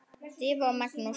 Drífa og Magnús.